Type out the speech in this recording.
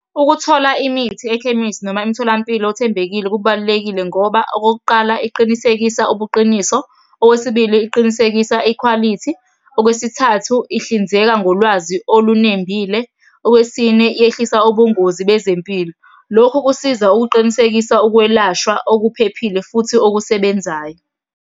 Ukuthola imithi ekhemisi noma emtholampilo othembekile kubalulekile ngoba, okokuqala, iqinisekisa ubuqiniso. Owesibili, iqinisekisa ikhwalithi. Okwesithathu ihlinzeka ngolwazi olunembile. Okwesine, yehlisa ubungozi bezempilo. Lokhu kusiza ukuqinisekisa ukwelashwa okuphephile, futhi okusebenzayo.